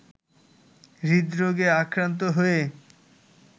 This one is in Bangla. হৃদরোগে আক্রান্ত হয়ে